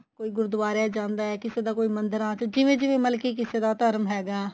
ਕੋਈ ਗੁਰਦੁਆਰੇ ਜਾਂਦਾ ਕਿਸੇ ਦਾ ਕੋਈ ਮੰਦਰਾ ਚ ਜਿਵੇਂ ਜਿਵੇਂ ਮਤਲਬ ਕਿਸੇ ਦਾ ਧਰਮ ਹੈਗਾ